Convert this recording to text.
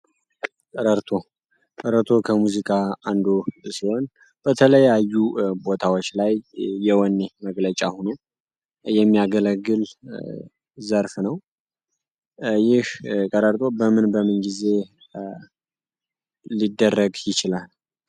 ቀረርቶ ከሙዚቃ አንዱ ሲሆን በተለያዩ ቦታዎች ላይ መግለጫ ሆኖ የሚያገለግል ዘርፍ ነው በምን ይህ ቀረርቶ በምንጊዜውም ሊደረግ ይችላል